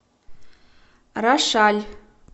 рошаль